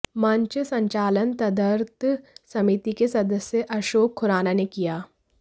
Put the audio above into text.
मंच संचालन तदर्थ समिति के सदस्य अशोक खुराना ने किया